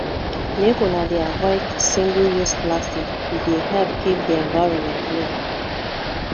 make una dey avoid singleuse plastics e dey help keep di environment clean